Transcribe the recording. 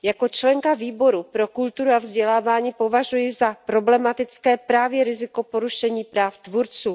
Jako členka Výboru pro kulturu a vzdělávání považuji za problematické právě riziko porušení práv tvůrců.